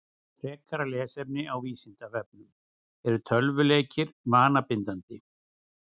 Frekara lesefni af Vísindavefnum: Eru tölvuleikir vanabindandi?